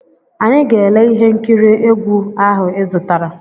Anyị ga-ele ihe nkiri egwu ahụ ịzụtara.